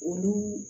Olu